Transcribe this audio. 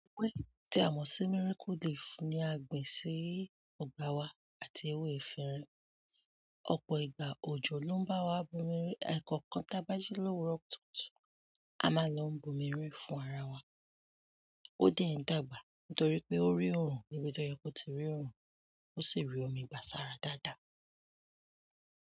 Ewé yìí tí a mọ̀ sí miracle leaf ni a gbin sí ọgbà wa àti ewé efinrin. Ọ̀pọ̀ ìgbà òjò ló ń bá wa bu omi rin, ẹ̀ẹ̀kọ̀kan tí a bá jí lowurọ kùtùkùtù a máa lọ ń bu omi rin fún ara wa. Ó dẹ ń dàgbà nítorí pé ó rí òrùn níbi tó yẹ kó ti rí òrùn, ó sì rí omi gbàsára dáadáa.